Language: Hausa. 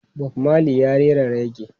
Bob Marley ya rera rege.